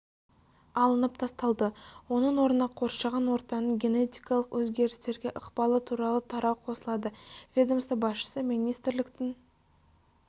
алынып тасталды оның орнына қоршаған ортаның генетикалық өзгерістерге ықпалы туралы тарау қосылады ведомство басшысы министрліктің